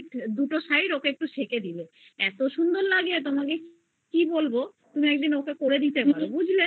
দুটো side ওকে একটু সেকে দিয়ো এত সুন্দর লাগে তোমাকে কি বলবো তুমি একদিন করে দিতে পারো বুঝলে